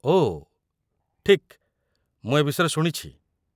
ଓଃ, ଠିକ୍, ମୁଁ ଏ ବିଷୟରେ ଶୁଣିଛି।